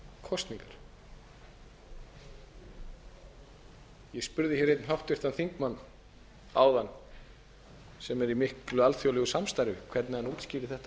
kosningar ég spurði hér einn háttvirtan þingmann áðan sem er í miklu alþjóðlegu samstarfi hvernig hann útskýrði þetta fyrir útlendingum